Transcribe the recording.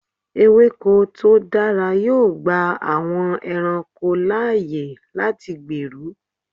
Ewéko tó dára yóò gba àwọn ẹranko láyè láti gbèrú.